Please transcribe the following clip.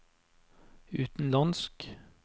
utenlandsk